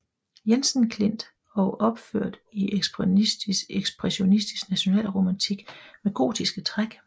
Jensen Klint og opført i ekspressionistisk nationalromantik med gotiske træk